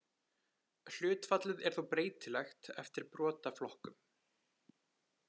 Hlutfallið er þó breytilegt eftir brotaflokkum.